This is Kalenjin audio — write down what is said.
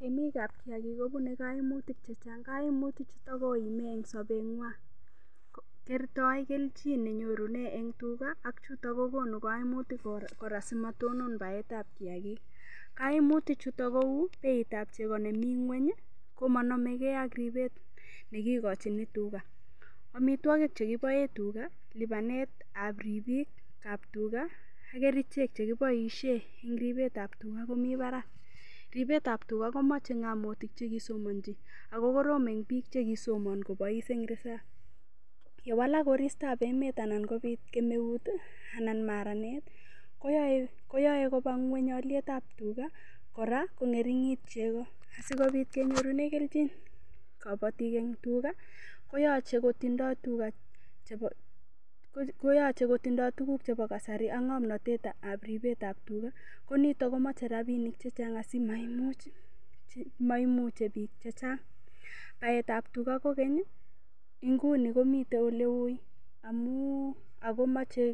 Temikab kiyakik kobunei kaimutik chechang' kaimutichuto koimei eng' sobeng'wai kertoi kenjin nenyorune eng' tuga akchuto kokonu kaimutik kora simatonon baetab kiyakik kaimutichuto kou beitab chebo nemi ng'weny komanomegei ak ribet nekikochini tuga omitwokik chekiboe tuka lipanetab ripikab tuga ak kerichek chekiboishe eng' ripetab tuga komi barak ribetab tuga komochei ng'amotik chekisomonji ako korom eng' biik chekisomon kobais eng' risap yewalak koristoab emet anan kobit kemeut anan maranet koyoe koba ng'weny olietab tuga kora kong'ering'it cheko sikobit kenyorune keljin kobotik eng' tuga koyochei kotindoi tukuk chebo kasari ak ng'omnotet ab ribetab tuga konito komochei rapinik cheng' komaimuchei biik chechang' baetab tuga kokeny nguni komitei ole ui akomochei